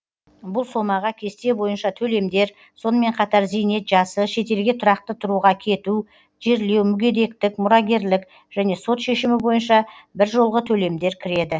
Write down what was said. бұл сомаға кесте бойынша төлемдер сонымен қатар зейнет жасы шетелге тұрақты тұруға кету жерлеу мүгедектік мұрагерлік және сот шешімі бойынша біржолғы төлемдер кіреді